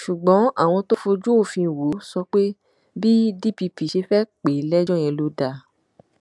ṣùgbọn àwọn tó fojú òfin wò ó sọ pé bí dpp ṣe fẹẹ pè é lẹjọ yẹn ló dáa